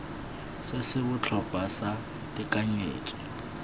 se se botlhokwa sa tekanyetso